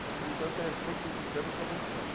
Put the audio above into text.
Então, por enquanto, é C anos de abolição.